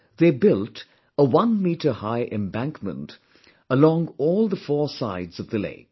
They built a one meter high embankment along all the four sides of the lake